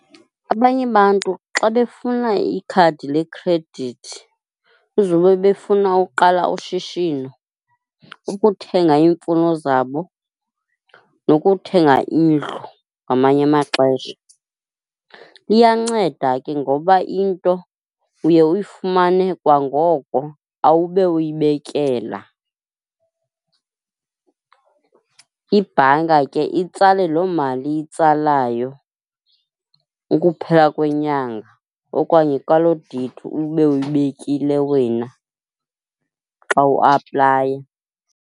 Abanye bantu xa befuna ikhadi lekhredithi kuzube befuna ukuqala ushishino, ukuthenga iimfuno zabo nokuthenga indlu ngamanye amaxesha. Iyanceda ke ngoba into uye uyifumane kwangoko, awube uyibekela. Ibhanka ke itsale loo mali iyitsalayo ukuphela kwenyanga okanye kwaloo deyithi ube uyibekile wena xa uaplaya.